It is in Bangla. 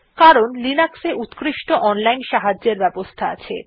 কারণ লিনাক্সে উত্কৃষ্ট অনলাইন সাহায্যের সুবিধা আছে